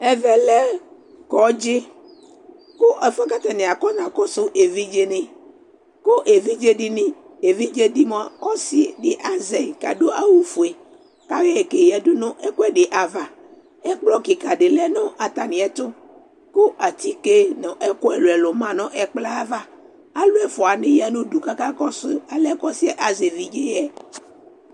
Ɛvɛ kɔdzɩ kʋ ɛfʋ yɛ kʋ atanɩ akɔnakɔsʋ evidzenɩ kʋ evidze dɩnɩ Evidze dɩ mʋa, ɔsɩ dɩ azɛ yɩ kʋ adʋ awʋfue kʋ ayɔ yɩ keyǝdu nʋ ɛkʋɛdɩ ava Ɛkplɔ kɩka dɩ lɛ nʋ atamɩɛtʋ kʋ atike nʋ ɛkʋ ɛlʋ-ɛlʋ ma nʋ ɛkplɔ yɛ ava Alʋ ɛfʋanɩ ya nʋ udu kʋ akakɔsʋ alɛna yɛ ɔsɩ yɛ azɛ evidze yɛ